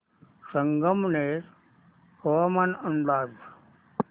संगमनेर हवामान अंदाज